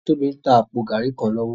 Tobi n tá àpó gàrí kán lòwò